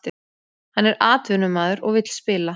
Hann er atvinnumaður og vill spila